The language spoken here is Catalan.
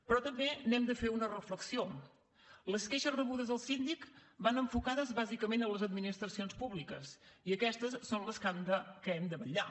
però també n’hem de fer una reflexió les queixes rebudes al síndic van enfocades bàsicament a les administracions públiques i aquestes són per les que hem de vetllar